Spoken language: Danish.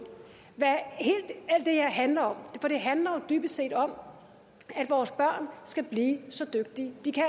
hvad alt det her handler om det handler jo dybest set om at vores børn skal blive så dygtige de kan